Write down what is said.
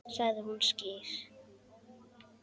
Sagði hún ský?